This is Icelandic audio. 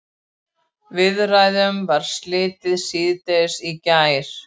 Viðræðunum var slitið síðdegis í gær